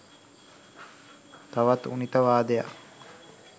තවත් ඌනිතවාදයක්